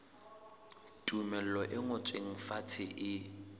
tumello e ngotsweng fatshe e